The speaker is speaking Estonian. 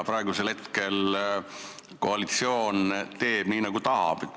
Praegu koalitsioon teeb nii, nagu tahab.